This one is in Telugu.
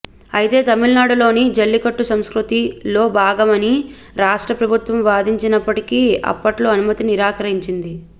అయితే తమిళనాడులో జల్లికట్టు సంస్కృతిలో భాగమని రాష్ట్ర ప్రభుత్వం వాదించినప్పటికీ అప్పట్లో అనుమతి నిరాకరించింది